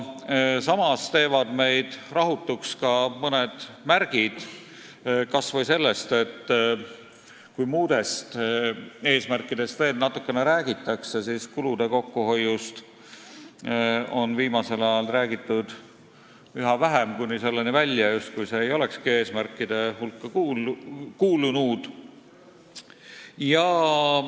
Samas teevad meid rahutuks mõned märgid – kas või see, et kui muudest eesmärkidest veel natukene räägitakse, siis kulude kokkuhoiust on viimasel ajal räägitud üha vähem, kuni selleni välja, justkui see ei olekski eesmärkide hulka kuulunud.